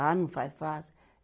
Ah, não faz, faço.